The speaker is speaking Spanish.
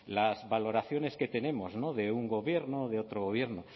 las valoraciones que tenemos de un gobierno de otro gobierno